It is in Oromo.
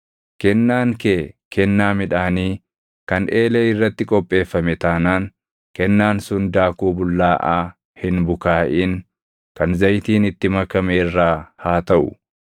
Kennaan kee kennaa midhaanii kan eelee irratti qopheeffame taanaan kennaan sun daakuu bullaaʼaa hin bukaaʼin kan zayitiin itti makame irraa haa taʼu.